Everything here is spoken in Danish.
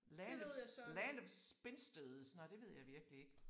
Landet Land of Spinsters nåh det ved jeg virkelig ikke